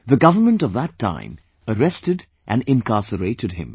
The government of that time arrested and incarcerated him